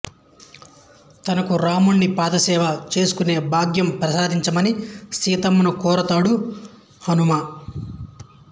తనకు రాముని పాదసేవ చేసుకునే భాగ్యం ప్రసాదించమని సీతమ్మను కోరుతాడు హనుమ